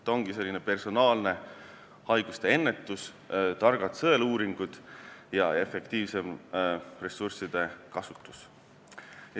See ongi selline personaalne haiguste ennetus – targad sõeluuringud ja efektiivsem ressursside kasutus.